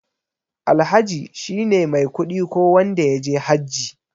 Alhaji shine mai kuɗi ko wanda yaje hajji.